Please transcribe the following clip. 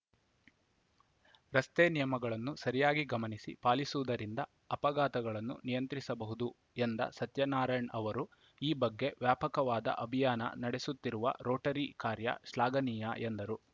ರಸ್ತೆ ನಿಯಮಗಳನ್ನು ಸರಿಯಾಗಿ ಗಮನಿಸಿ ಪಾಲಿಸುವುದರಿಂದ ಅಪಘಾತಗಳನ್ನು ನಿಯಂತ್ರಿಸಬಹುದು ಎಂದ ಸತ್ಯನಾರಾಯಣ್‌ ಅವರು ಈ ಬಗ್ಗೆ ವ್ಯಾಪಕವಾದ ಅಭಿಯಾನ ನಡೆಸುತ್ತಿರುವ ರೋಟರಿ ಕಾರ್ಯ ಶ್ಲಾಘನೀಯ ಎಂದರು